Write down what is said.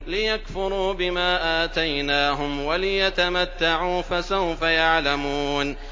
لِيَكْفُرُوا بِمَا آتَيْنَاهُمْ وَلِيَتَمَتَّعُوا ۖ فَسَوْفَ يَعْلَمُونَ